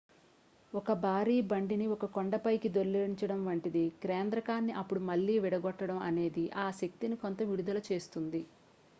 ఒక భారీ బండిని ఒక కొండ పైకి దొర్లించడం వంటిది కేంద్రకాన్ని అప్పుడు మళ్లీ విడగొట్టడం అనేది ఆ శక్తిని కొంత విడుదల చేస్తుంది